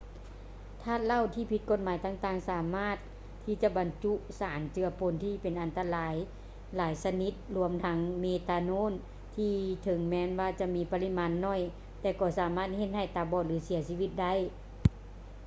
ທາດເຫຼົ້າທີ່ຜິດກົດໝາຍຕ່າງໆ ສາມາດທີ່ຈະບັນຈຸສານເຈືອປົນທີ່ເປັນອັນຕະລາຍຫຼາຍຊະນິດລວມທັງ ເມຕາໂນນ ທີ່ເຖິງແມ່ນວ່າຈະມີປະລິມານໜ້ອຍ ແຕ່ກໍສາມາດເຮັດໃຫ້ຕາບອດ ຫຼື ເສຍຊີວິດໄດ້